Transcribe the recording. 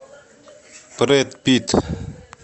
брэд питт